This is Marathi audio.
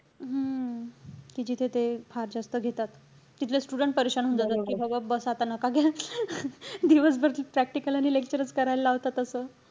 हम्म कि जिथे ते, फार जास्त घेतात. तिथले student होऊन जातात. कि बाबा बस. आता नका घ्या. दिवसभर ती practicals आणि lectures च करायला लावतात असं.